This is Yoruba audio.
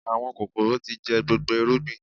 Àwọn kòkòrò tí jẹ gbogbo irúgbìn